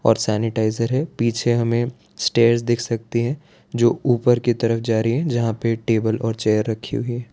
और सैनिटाइजर है पीछे हमें स्टेयर दिख सकती है जो ऊपर की तरफ जा रही है जहां पे टेबल और चेयर रखी हुई --